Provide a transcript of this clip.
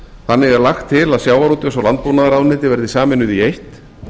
þannig er lagt til að sjávarútvegs og landbúnaðarráðuneyti verði sameinuð í eitt